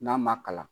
N'a ma kalan